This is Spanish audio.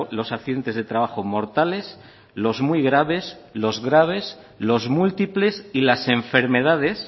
los accidentes de trabajo mortales los muy graves los graves los múltiples y las enfermedades